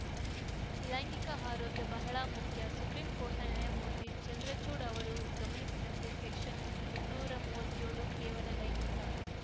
ಲೈಂಗಿಕ ಆರೋಗ್ಯ ಬಹಳ ಮುಖ್ಯ ಸುಪ್ರೀಂಕೋರ್ಟ್‌ನ ನ್ಯಾಯಮೂರ್ತಿ ಚಂದ್ರಚೂಡ್‌ ಅವರು ಗಮನಿಸಿದಂತೆ ಸೆಕ್ಷನ್‌ ಮುನ್ನೂರ ಮೂವತ್ಯೋಳು ಕೇವಲ ಲೈಂಗಿಕ